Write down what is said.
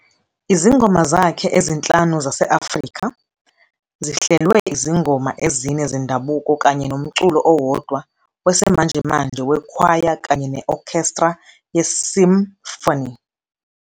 Izingoma zakhe "ezinhlanu zase-Afrika" zihlelwe izingoma ezine zendabuko kanye nomculo owodwa wesimanjemanje wekhwaya kanye ne-okhestra ye-symphony.